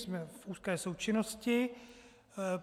Jsme v úzké součinnosti.